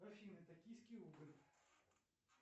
афина токийский рубль